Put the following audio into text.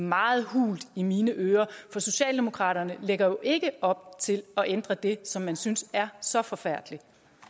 meget hult i mine ører for socialdemokratiet lægger jo ikke op til at ændre det som man synes er så forfærdeligt